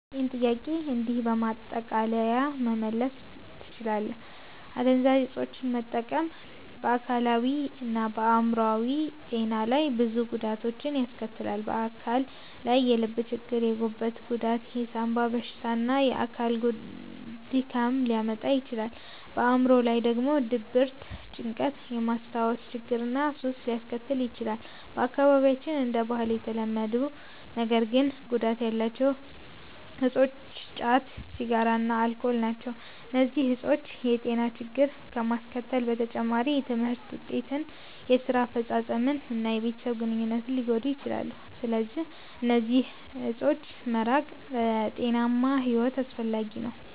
ይህን ጥያቄ እንዲህ በማጠቃለያ መመለስ ትችላለህ፦ አደንዛዥ እፆችን መጠቀም በአካላዊ እና በአዕምሮአዊ ጤና ላይ ብዙ ጉዳቶችን ያስከትላል። በአካል ላይ የልብ ችግር፣ የጉበት ጉዳት፣ የሳንባ በሽታ እና የአካል ድካም ሊያመጣ ይችላል። በአዕምሮ ላይ ደግሞ ድብርት፣ ጭንቀት፣ የማስታወስ ችግር እና ሱስ ሊያስከትል ይችላል። በአካባቢያችን እንደ ባህል የተለመዱ ነገር ግን ጉዳት ያላቸው እፆች ጫት፣ ሲጋራ እና አልኮል ናቸው። እነዚህ እፆች የጤና ችግሮችን ከማስከተል በተጨማሪ የትምህርት ውጤትን፣ የስራ አፈጻጸምን እና የቤተሰብ ግንኙነትን ሊጎዱ ይችላሉ። ስለዚህ ከእነዚህ እፆች መራቅ ለጤናማ ሕይወት አስፈላጊ ነው።